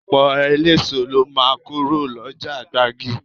Ọ̀pọ̀ eléso lọ máa kúrò lọ́jà gbági